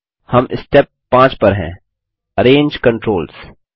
हम स्टेप 5 पर हैं अरेंज कंट्रोल्स